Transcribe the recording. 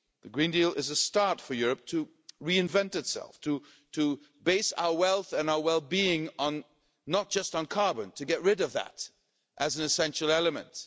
The Green Deal is a start for Europe to reinvent itself, to base our wealth and our well-being not just on carbon, to get rid of that as an essential element.